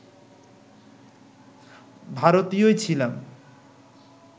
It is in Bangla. ভারতীয়ই ছিলাম